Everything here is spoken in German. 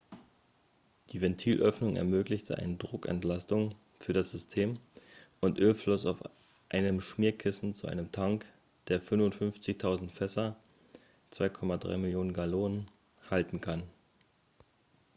die ventilöffnung ermöglichte eine druckentlastung für das system und öl floss auf einem schmierkissen zu einem tank der 55 000 fässer 2,3 millionen gallonen halten kann